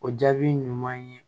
O jaabi ɲuman ye